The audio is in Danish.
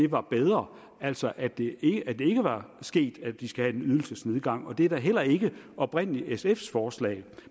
var bedre altså at det ikke var sket at de skal have en ydelsesnedgang og det er da heller ikke oprindelig sfs forslag